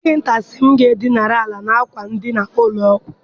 Dọkịta si m gaa dinara ala n'akwa edina ụlọ ọgwụ.